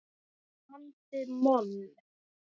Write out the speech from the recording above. andi moll.